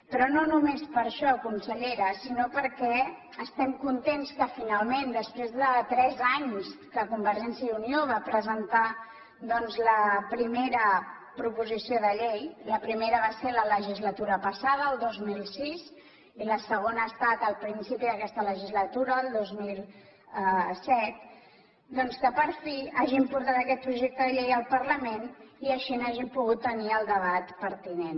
però no només per això consellera sinó perquè estem contents que finalment després de tres anys que convergència i unió va presentar doncs la primera proposició de llei la primera va ser a la legislatura passada el dos mil sis i la segona ha estat al principi d’aquesta legislatura el dos mil set per fi hagin portat aquest projecte de llei al parlament i així n’hàgim pogut tenir el debat pertinent